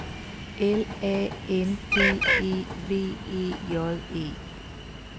L A N D E V E J E